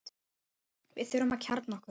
Við þurfum að kjarna okkur